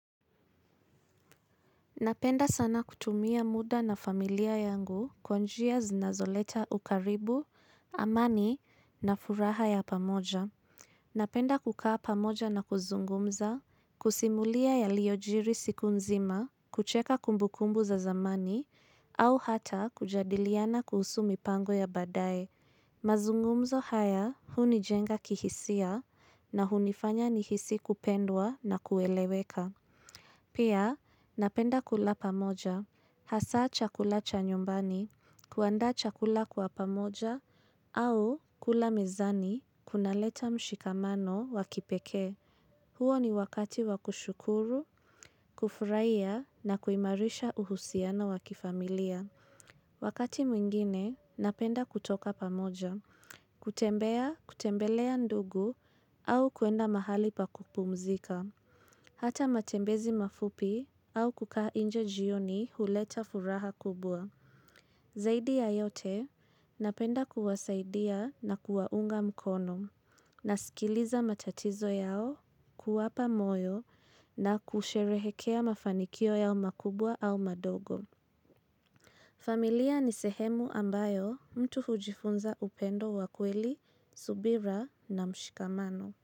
Napenda sana kutumia muda na familia yangu kwa njia zinazoleta ukaribu, amani na furaha ya pamoja. Napenda kukaa pamoja na kuzungumza, kusimulia yaliyo jiri siku nzima, kucheka kumbukumbu za zamani, au hata kujadiliana kuhusu mipango ya badae. Mazungumzo haya hunijenga kihisia na hunifanya nihisi kupendwa na kueleweka. Pia, napenda kula pamoja, hasa chakula cha nyumbani, kuanda chakula kwa pamoja, au kula mezani, kunaleta mshikamano wakipekee. Huo ni wakati wakushukuru, kufurahiya na kuimarisha uhusiano wakifamilia. Wakati mwingine, napenda kutoka pamoja, kutembea, kutembelea ndugu, au kuenda mahali pa kupumzika. Hata matembezi mafupi au kukaa inje jioni huleta furaha kubwa. Zaidi ya yote, napenda kuwasaidia na kuwaunga mkono. Nasikiliza matatizo yao kuwapa moyo na kusherehekea mafanikio yao makubwa au madogo. Familia ni sehemu ambayo mtu hujifunza upendo wakweli, subira na mshikamano.